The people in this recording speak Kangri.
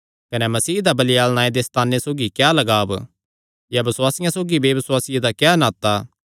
कने मसीह दा बलियाल नांऐ दे सैताने सौगी क्या लगाव या बसुआसिये सौगी बेबसुआसी दा क्या नाता